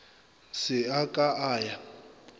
se a ka a ya